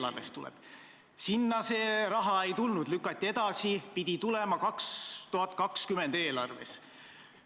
Aga seal ka seda raha ei olnud, lükati jälle edasi, pidi tulema 2020 eelarves.